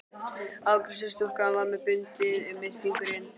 Afgreiðslustúlkan var með bundið um einn fingurinn.